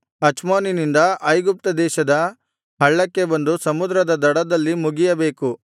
ಅಚ್ಮೋನಿನಿಂದ ಐಗುಪ್ತ ದೇಶದ ಹಳ್ಳಕ್ಕೆ ಬಂದು ಸಮುದ್ರದ ದಡದಲ್ಲಿ ಮುಗಿಯಬೇಕು